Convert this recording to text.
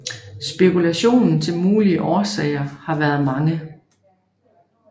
Spekulation til mulige årsager har været mange